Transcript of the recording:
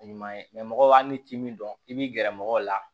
A ɲuman ye mɔgɔ hali ti min dɔn i b'i gɛrɛ mɔgɔw la